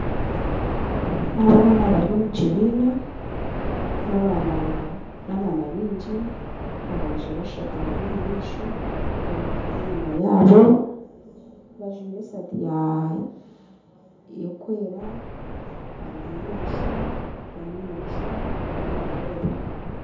Abaana bari omu kibiina, n'abaana baingi aboojo bashatu bari omu maisho abandi bari enyima yaabo, bajwaire esaati y'okwera barimu nibashoma, omwe nareeba